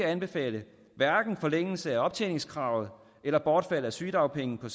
anbefale forlængelse af optjeningskravet eller bortfald af sygedagpenge på